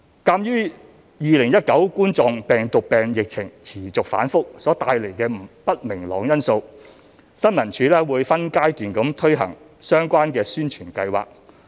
鑒於2019冠狀病毒病疫情持續反覆所帶來的不明朗因素，新聞處會分階段推行相關宣傳計劃。